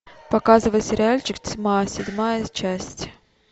показывай сериальчик тьма седьмая часть